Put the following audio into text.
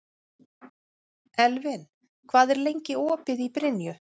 Elvin, hvað er lengi opið í Brynju?